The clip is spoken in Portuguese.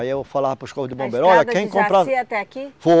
Aí eu falava para os corpo de bombeiro, olha quem compra. A estrada do Jaci até aqui? Foi